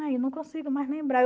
Aí, não consigo mais lembrar.